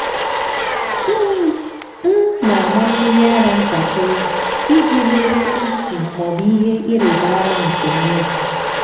m na-ama mmiri ara ntakịrị iji lelee ísì ma ọ bụ ihe ịrịba ama nke mmebi.